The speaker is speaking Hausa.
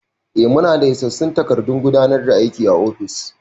Mu na daa isassun takardun gudanar da aiki a ofis